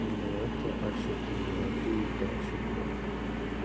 ну это а четыре а ты итачи блядь